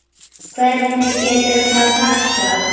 Hvernig getur það passað?